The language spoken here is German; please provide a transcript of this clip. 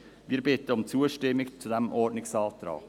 Wir bitten um Zustimmung zu diesem Ordnungsantrag.